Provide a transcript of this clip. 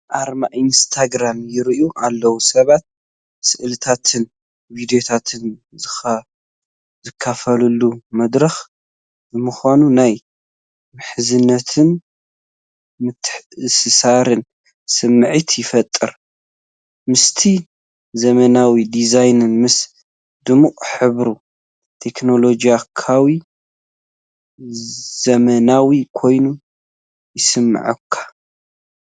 ኣርማ ኢንስታግራም ይረአ ኣሎ፤ ሰባት ስእልታትን ቪድዮታትን ዝካፈሉሉ መድረኽ ብምዃኑ ናይ ምሕዝነትን ምትእስሳርን ስምዒት ይፈጥር። ምስቲ ዘመናዊ ዲዛይኑ ምስ ድሙቕ ሕብሪ ቴክኖሎጂካውን ዘመናውን ኮይኑ ይስምዓካ።